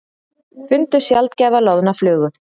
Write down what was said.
Fundu sjaldgæfa loðna flugu